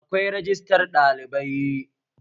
Akwai rajistar ɗalibai